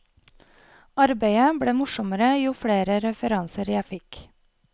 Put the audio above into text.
Arbeidet ble morsommere jo flere referanser jeg fikk.